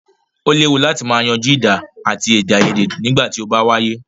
O léwu láti má yanjú ìjà àti èdèaiyèdè nígbà tí o bá wáyé.